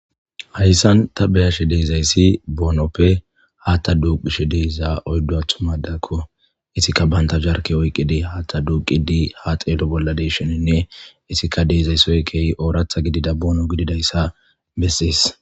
Hayssan tabeyashe deezayssi boonoppe haatta duuqishe deeza oyddo athumadakko isikka banta jarke oyqqide hatta duuqidi ha xeelo bolla desheninne isika deezaysoy keyi ooratha gidida boono gididayssa bessis.